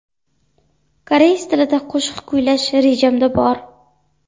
Koreys tilida qo‘shiq kuylash rejamda bor.